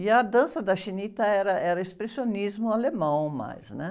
E a dança da era, era expressionismo alemão mais, né?